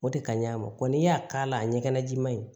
O de ka ɲi a ma n'i y'a k'a la a ɲɛgɛnna jiman in